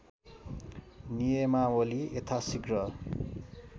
नियमावली यथासिघ्र